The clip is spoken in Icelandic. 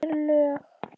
Það eru lög.